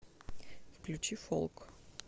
включи фолк